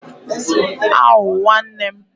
Awwww Nwanne m????